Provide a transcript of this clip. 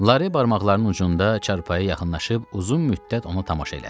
Lara barmaqlarının ucunda çarpayıya yaxınlaşıb uzun müddət onu tamaşa elədi.